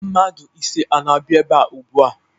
Mmadụ ise ana-abịa ebe ugbua.